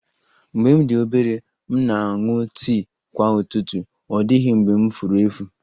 Mgbe m dị obere, m na-aṅụ tii kwa ụtụtụ, ọ dịghị mgbe m furu efu